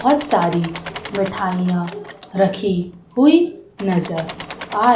बोहोत सारी मिठाइयां रखी हुई नजर आ--